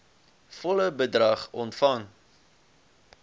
volle bedrag ontvang